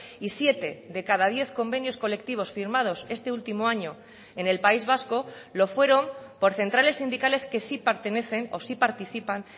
y siete de cada diez convenios colectivos firmados este último año en el país vasco lo fueron por centrales sindicales que sí pertenecen o sí participan